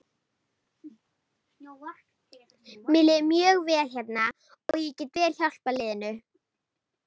Mér líður mjög vel hérna og ég get vel hjálpað liðinu.